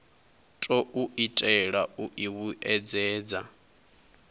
khou itelwa u i vhuedzedza